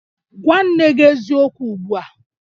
Gwa nne gi eziokwu ugbu a!